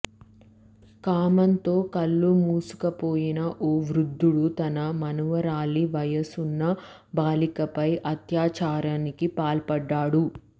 కామంతో కళ్లు మూసుకుపోయిన ఓ వృద్ధుడు తన మనుమరాలి వయసున్న బాలికపై అత్యాచారానికి పాల్పడ్డాడు